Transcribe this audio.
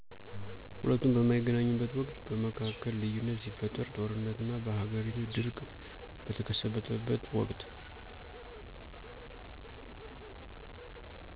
ሁለቱም በማይገናኙበት ወቅት በመካከል ልዩነት ሲፈጠር ጦርነት እና በሃገሪቱ ድርቅ ቀተከሰተበት ወቅት